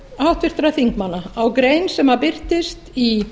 háttvirtra þingmanna á grein sem birtist í